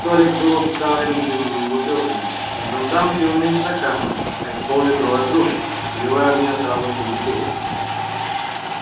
столик был уставлен пивными бутылками но жандарм пил не из стакана а из пол литровой кружки выливая в нее сразу всю бутылку